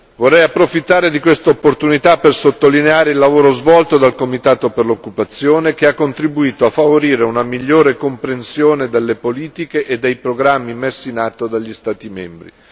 Vorrei approfittare di questa opportunità per sottolineare il lavoro svolto dal comitato per l'occupazione che ha contribuito a favorire una migliore comprensione delle politiche e dei programmi messi in atto dagli Stati membri.